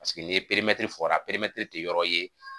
Paseke ni fɔra te yɔrɔ ye .